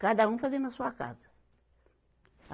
Cada um fazia na sua casa.